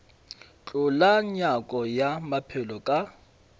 hlola nyako ya maphelo ka